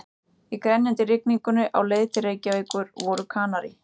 Í grenjandi rigningunni á leið til Reykjavíkur voru Kanarí